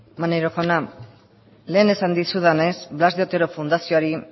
maneiro jauna lehen esan dizudanez blas de otero fundazioari